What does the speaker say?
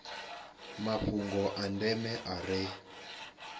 mafhungo a ndeme a re